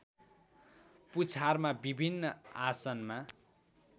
पुछारमा विभिन्न आसनमा